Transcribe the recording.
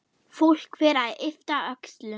Fólk fer að yppta öxlum.